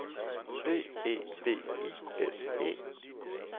B E V I S E